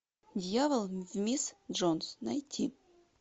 дьявол в мисс джонс найти